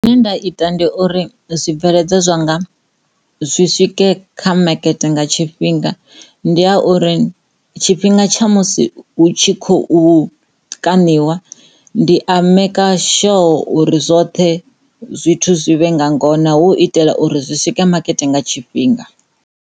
Zwine nda ita ndi uri zwibveledzwa zwanga zwi swike kha makete nga tshifhinga ndi ha uri tshifhinga tsha musi hu tshi khou kaniwa ndi a maker sure uri zwoṱhe zwithu zwi vhe nga ngona hu u itela uri zwi swike makete nga tshifhinga.